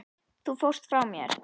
Þú fórst frá mér.